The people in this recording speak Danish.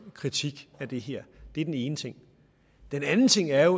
kritik af det her det er den ene ting den anden ting er